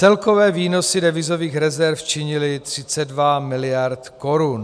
Celkové výnosy devizových rezerv činily 32 miliard korun.